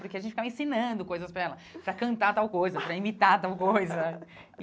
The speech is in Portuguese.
Porque a gente ficava ensinando coisas para ela, para cantar tal coisa, para imitar tal coisa.